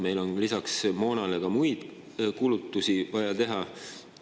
Meil on lisaks moona soetamisele vaja ka muid kulutusi teha.